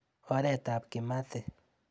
Oretab Kimathi.